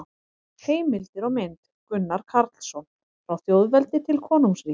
Heimildir og mynd: Gunnar Karlsson: Frá þjóðveldi til konungsríkis